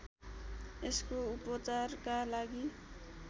यसको उपचारका लागि